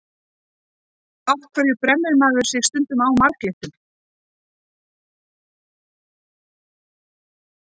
Af hverju brennir maður sig stundum á marglyttum?